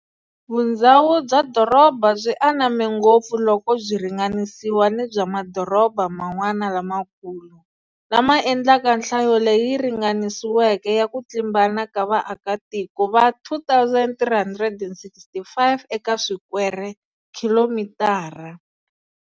Vundzhawu bya doroba byi aname ngopfu loko byi ringanisiwa ni bya madoroba man'wana lamakulu, lama endlaka nhlayo leyi ringaniseriweke ya ku tlimbana ka vaakatiko va 2,365 eka swikwere-khilomitara.